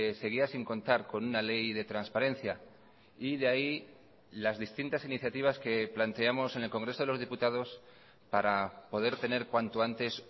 seguía sin contar con una ley de transparencia y de ahí las distintas iniciativas que planteamos en el congreso de los diputados para poder tener cuanto antes